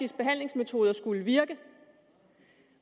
behandlingsmetoder skulle virke